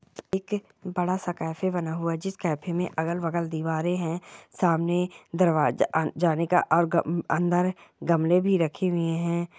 एक बड़ा सा कैफै बना हुआ है जिस कैफै मे अगल बगल दिवारे है सामने दरवाजा जाने का अंदर अ ग गमले भी रखे हुए है ।